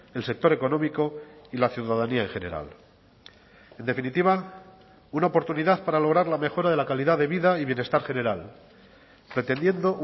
el sector económico y la ciudadanía en general en definitiva una oportunidad para lograr la mejora de la calidad de vida y bienestar general pretendiendo